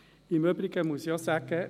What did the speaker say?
Im Übrigen muss ich auch sagen: